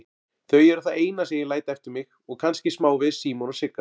Þau eru það eina sem ég læt eftir mig og kannski smávegis Símon og Sigga.